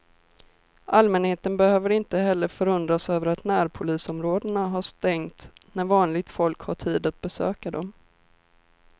Allmänheten behöver inte heller förundras över att närpolisområdena har stängt när vanligt folk har tid att besöka dem.